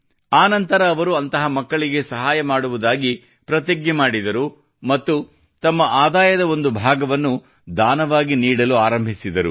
ಆ ನಂತರ ಅವರು ಅಂತಹ ಮಕ್ಕಳ ಸಹಾಯ ಮಾಡುವುದಾಗಿ ಪ್ರತಿಜ್ಞೆ ಮಾಡಿದರು ಮತ್ತು ತಮ್ಮ ಆದಾಯದ ಒಂದು ಭಾಗವನ್ನು ದಾನವಾಗಿ ನೀಡಲು ಆರಂಭಿಸಿದರು